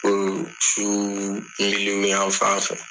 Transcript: Fo su yan fan fɛ.